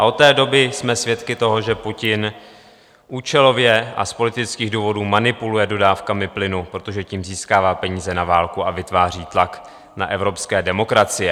A od té doby jsme svědky toho, že Putin účelově a z politických důvodů manipuluje dodávkami plynu, protože tím získává peníze na válku a vytváří tlak na evropské demokracie.